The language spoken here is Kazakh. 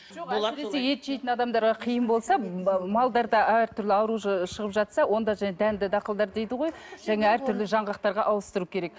ет жейтін адамдарға қиын болса малдарда әртүрлі ауру шығып жатса онда жаңағы дәнді дақылдар дейді ғой жаңағы әртүрлі жанғақтарға ауыстыру керек